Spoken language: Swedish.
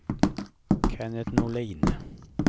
Kennet Norlin